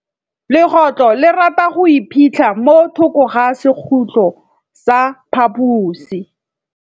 Legôtlô le rata go iphitlha mo thokô ga sekhutlo sa phaposi.